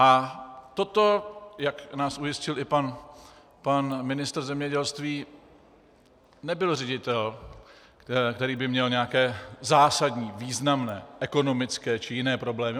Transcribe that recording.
A toto, jak nás ujistil i pan ministr zemědělství, nebyl ředitel, který by měl nějaké zásadní, významné ekonomické či jiné problémy.